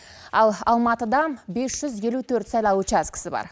ал алматыда бес жүз елу төрт сайлау учаскісі бар